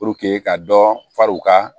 ka dɔ fari u ka